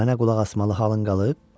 Mənə qulaq asmalı halın qalıb?